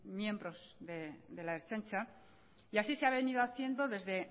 miembros de la ertzaintza y así se ha venido haciendo desde